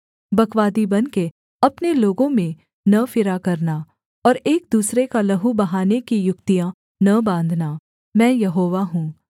बकवादी बनके अपने लोगों में न फिरा करना और एक दूसरे का लहू बहाने की युक्तियाँ न बाँधना मैं यहोवा हूँ